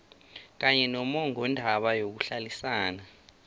kanye nommongondaba yokuhlalisana